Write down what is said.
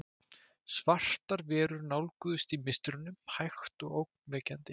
Svartar verur nálguðust í mistrinu, hægt og ógnvekjandi.